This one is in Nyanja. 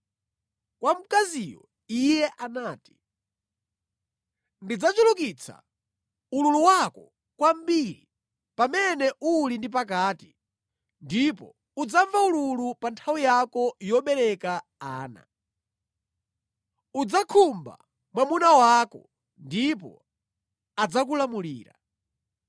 Kwa mkaziyo Iye anati, “Ndidzachulukitsa ululu wako kwambiri pamene uli ndi pakati; ndipo udzamva ululu pa nthawi yako yobereka ana. Udzakhumba mwamuna wako, ndipo adzakulamulira.”